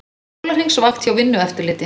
Sólarhringsvakt hjá Vinnueftirliti